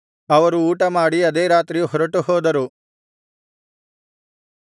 ಅವರು ಊಟಮಾಡಿ ಅದೇ ರಾತ್ರಿ ಹೊರಟುಹೋದರು